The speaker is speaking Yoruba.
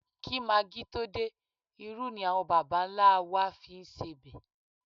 Kí magí tó dé, irú ni àwọn bàbà-ńlá á wá fi ń sebẹ̀